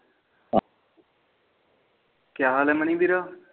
ਕੀਆ ਹਾਲ ਆ ਮਨੀ ਵੀਰ